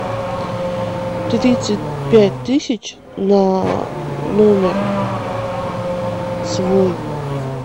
тридцать пять тысяч на номер свой